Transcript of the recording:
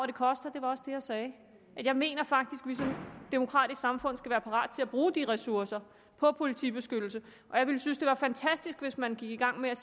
det koster det var også det jeg sagde jeg mener faktisk at vi som demokratisk samfund skal være parat til at bruge de ressourcer på politibeskyttelse og jeg ville synes at det var fantastisk hvis man gik i gang med